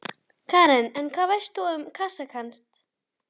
Karen: En hvað veistu um Kasakstan?